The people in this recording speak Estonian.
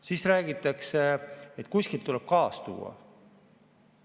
Siis räägitakse, et kuskilt tuleb gaasi tuua.